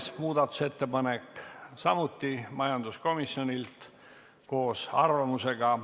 Oleme muudatusettepanekud läbi vaadanud ja meil on juhtivkomisjoni ettepanek eelnõu 202 teine lugemine lõpetada.